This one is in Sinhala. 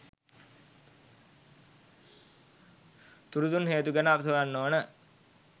තුඩු දුන් හේතු ගැන අපි සොයන්න ඕන.